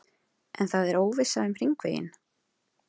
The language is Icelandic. En það er óvissa um hringveginn?